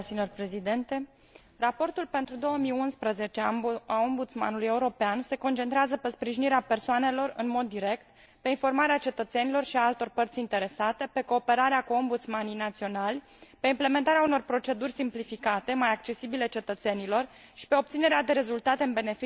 Raportul pentru 2011 al Ombudsmanului European se concentrează pe sprijinirea persoanelor în mod direct, pe informarea cetățenilor și a altor părți interesate, pe cooperarea cu ombudsmanii naționali, pe implementarea unor proceduri simplificate, mai accesibile cetățenilor, și pe obținerea de rezultate în beneficiul reclamanților.